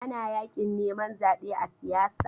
Ana yakin neman zaɓe a siyasa.